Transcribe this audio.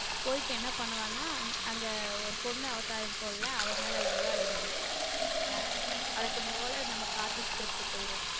போயிட்டு என்ன பண்ணுவானா அங்க ஒரு பொண்ணு அவதார் இருக்கும்ல அவ மேல love ஆகிடும் ஹம் வழக்கம் போல நம்ம காதல் script போயிடும்.